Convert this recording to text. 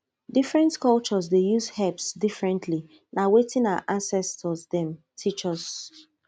different cultures dey use herbs differently na wetin our ancestors dem teach us